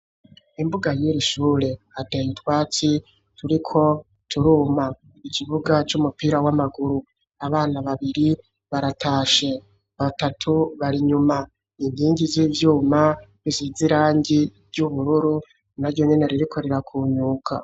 Imbuga y'ishure hateye utwatsi turiko turuma. Ikibuga c'umupira w'amaguru, abana babiri baratashe, batatu bari nyuma. Inkingi z'ivyuma isize irangi ry'ubururu naryonyene ririko rirakunyuka.